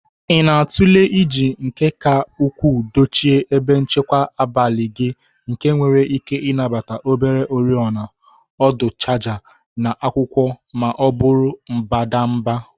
Ị na-atụle iji nke ka ukwuu dochie ebe nchekwa abalị gị nke nwere ike ịnabata obere oriọna, ọdụ chaja na akwụkwọ ma ọ bụ mbadamba.